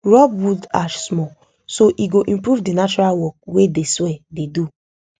rob wood ash small so e go improve the natural work wey de soil dey do